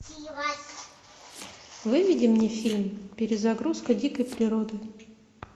выведи мне фильм перезагрузка дикой природы